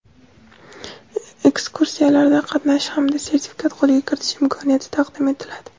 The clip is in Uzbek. ekskursiyalarda qatnashish hamda sertifikat qo‘lga kiritish imkoniyati taqdim etiladi.